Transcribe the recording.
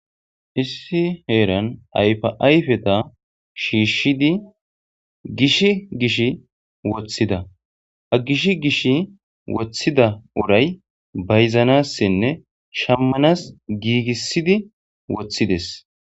issi heeran ayfa ayfeta shiishshidi gish gish woththida ha gish gish woththida uray bayzanasane shammanas giigissidi woththides